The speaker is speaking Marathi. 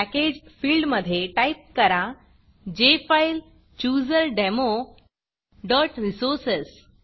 Packageफिल्ड मधे टाईप करा jfilechooserdemoरिसोर्सेस